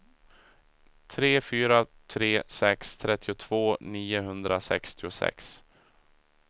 tre fyra tre sex trettiotvå niohundrasextiosex